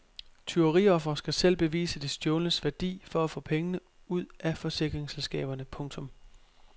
Tyveriofre skal selv bevise det stjålnes værdi for at få penge ud af forsikringsselskaberne. punktum